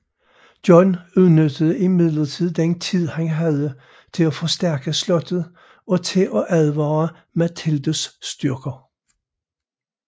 John udnyttede imidlertid den tid han havde til at forstærke slottet og til at advare Matildes styrker